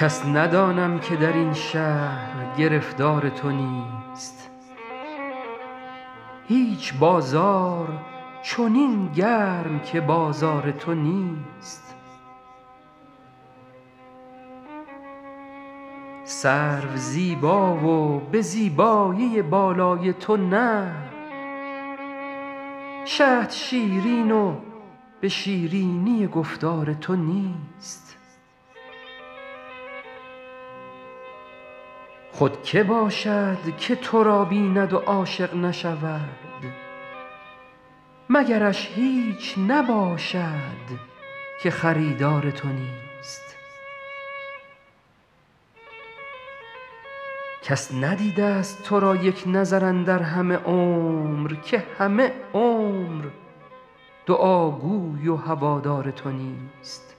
کس ندانم که در این شهر گرفتار تو نیست هیچ بازار چنین گرم که بازار تو نیست سرو زیبا و به زیبایی بالای تو نه شهد شیرین و به شیرینی گفتار تو نیست خود که باشد که تو را بیند و عاشق نشود مگرش هیچ نباشد که خریدار تو نیست کس ندیده ست تو را یک نظر اندر همه عمر که همه عمر دعاگوی و هوادار تو نیست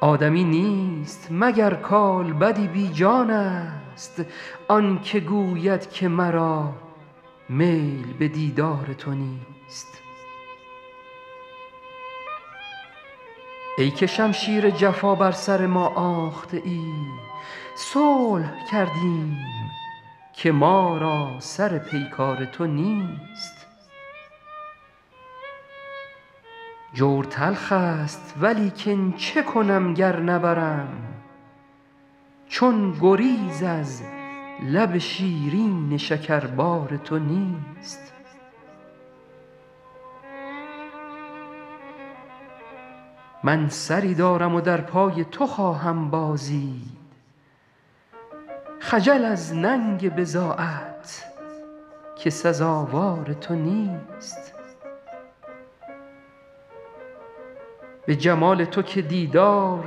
آدمی نیست مگر کالبدی بی جانست آن که گوید که مرا میل به دیدار تو نیست ای که شمشیر جفا بر سر ما آخته ای صلح کردیم که ما را سر پیکار تو نیست جور تلخ ست ولیکن چه کنم گر نبرم چون گریز از لب شیرین شکربار تو نیست من سری دارم و در پای تو خواهم بازید خجل از ننگ بضاعت که سزاوار تو نیست به جمال تو که دیدار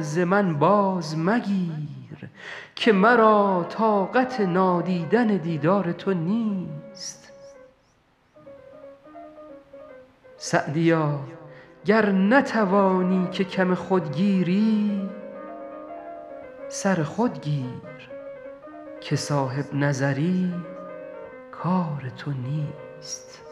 ز من باز مگیر که مرا طاقت نادیدن دیدار تو نیست سعدیا گر نتوانی که کم خود گیری سر خود گیر که صاحب نظر ی کار تو نیست